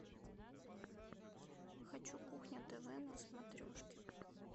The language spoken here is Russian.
хочу кухня тв на смотрешке